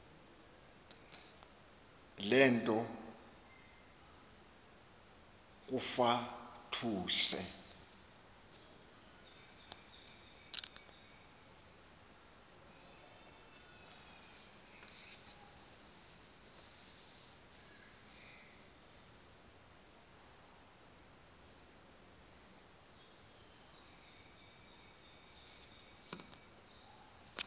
le nto kufatuse